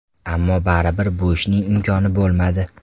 Ammo baribir bu ishning imkoni bo‘lmadi.